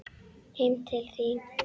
Heim til þín.